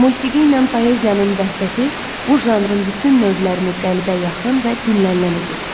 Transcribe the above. Musiqi ilə poeziyanın vəhdəti bu janrın bütün növlərini qəlbə yaxın və dinlənilən edir.